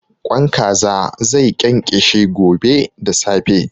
Ƙwan Kaza zai ƙenƙeshe gobe da safe.